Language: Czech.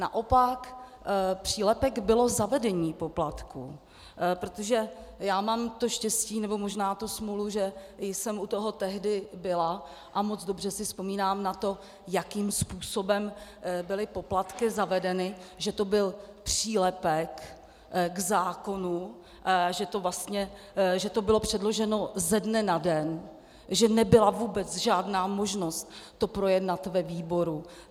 Naopak, přílepek bylo zavedení poplatků, protože já mám to štěstí, nebo možná tu smůlu, že jsem u toho tehdy byla, a moc dobře si vzpomínám na to, jakým způsobem byly poplatky zavedeny, že to byl přílepek k zákonu, že to bylo předloženo ze dne na den, že nebyla vůbec žádná možnost to projednat ve výboru.